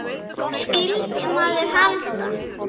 Skyldi maður halda.